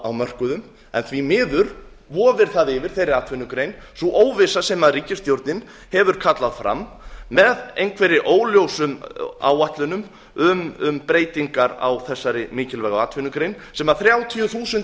á mörkuðum en því miður vofir yfir þeirri atvinnugrein sú óvissa sem ríkisstjórnin hefur kallað fram með einhverjum óljósum áætlunum um breytingar á þessari mikilvægu atvinnugrein sem þrjátíu þúsund